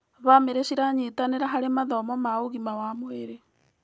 Bamĩrĩ ciranyitanĩra harĩ mathomo ma ũgima wa mwĩrĩ.